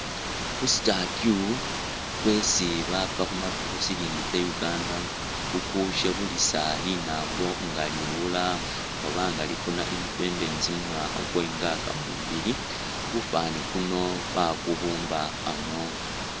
Ku statue kwesi baapa khuma khu shilingi tse Uganda ukushebulisa linambo nga liwuula oba nga lifuuna independence mumwaakha kwa 62, kufwaani kuno wakubumba ano